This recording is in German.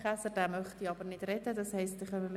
Käser verzichtet ebenfalls auf ein Votum.